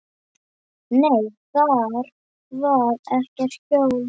Nei, þar var ekkert hjól.